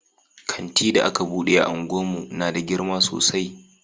Kanti da aka bude a unguwar mu na da girma sosai